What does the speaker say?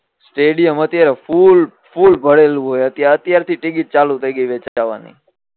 stadium અત્યારે full full ભરેલું હોય અત્યાર થી ટીકીટ ચાલુ થઇ ગઈ છે ચઢવાની